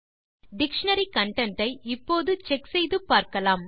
dictionary content ஐ இப்போது check செய்து பார்க்கலாம்